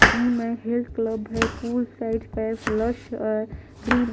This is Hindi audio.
जिम है हेल्थ क्लब है pool side flush a green --